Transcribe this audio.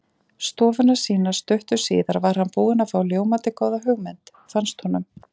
stofuna sína stuttu síðar var hann búinn að fá ljómandi góða hugmynd, fannst honum.